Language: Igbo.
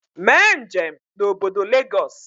Mee njem na obodo Lagos